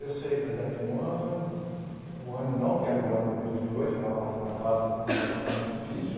Eu sei, falei, daqui um ano, um ano não, porque era o ano dois mil e oito, que eu estava passando a fase de afastamento difícil.